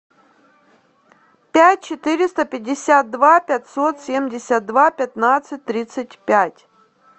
пять четыреста пятьдесят два пятьсот семьдесят два пятнадцать тридцать пять